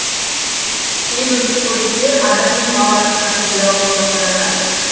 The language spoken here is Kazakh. кейбір сүтқоректілер адам мен мал арасына түрлі аурулар таратады